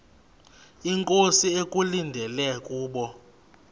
inkosi ekulindele kubo